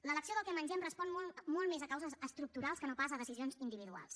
l’elecció del que mengem respon molt més a causes estructurals que no pas a decisions individuals